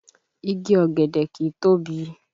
Igi ọ̀gẹ̀dẹ̀ kìí tóbi